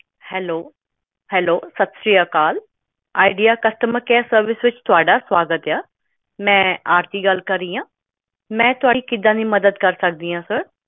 Hello hello ਸਤਿ ਸਿਰੀ ਅਕਾਲ ਵਿਚਾਰ customer care service ਵਿੱਚ ਤੁਹਾਡਾ ਸਵਾਗਤ ਹੈ ਮੈਂ ਆਰਤੀ ਗੱਲ ਕਰ ਰਹੀ ਹਾਂ ਮੈਂ ਤੁਹਾਡੀ ਕਿਵੇਂ ਮਦਦ ਕਰ ਸਕਦੀ ਹਾਂ sir